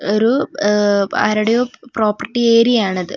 ഒരു ആ ആരുടയോ പ്രോപ്പർട്ടി ഏരിയാണിത് .